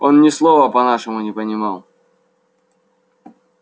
он ни слова по-нашему не понимал